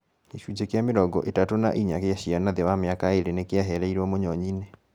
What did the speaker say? Gĩcunjĩ kĩa mĩrongo ĩtatũ na ĩnya gĩa ciana thĩ wa mĩaka ĩĩrĩ nĩkĩahereirũo mũnyonyi inĩ